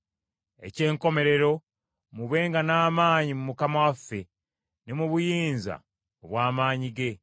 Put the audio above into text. Eky’enkomerero, mubenga n’amaanyi mu Mukama waffe ne mu buyinza obw’amaanyi ge.